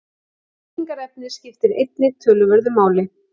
Byggingarefnið skiptir einnig töluverðu máli.